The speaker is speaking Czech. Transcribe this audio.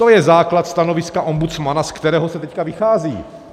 To je základ stanoviska ombudsmana, ze kterého se teď vychází.